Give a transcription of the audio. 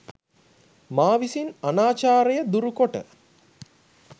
මා විසින් අනාචාරය දුරුකොට